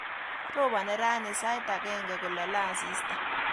Robani rani sait agenge kolale asista